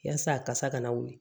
Yaasa a kasa kana wuli